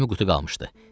20 qutu qalmışdı.